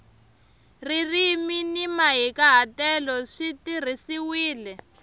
ririmi ni mahikahatelo swi tirhisiwile